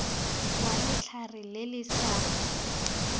wa letlhare le le sa